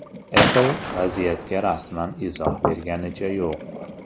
Apple vaziyatga rasman izoh berganicha yo‘q.